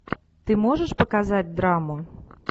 ты можешь показать драму